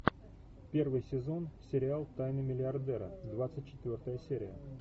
первый сезон сериал тайны миллиардера двадцать четвертая серия